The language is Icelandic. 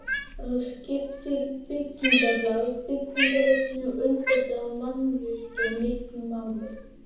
Þá skiptir byggingarlag, byggingarefni og undirstaða mannvirkja miklu máli.